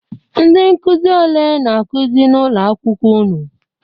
Ndị nkuzi ole na-akuzi n'ụlọ akwụkwọ unu?